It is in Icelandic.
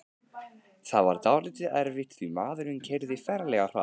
Það var dálítið erfitt því maðurinn keyrði ferlega hratt.